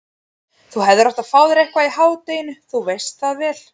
Þú hefðir átt að fá þér eitthvað í hádeginu, þú veist það vel.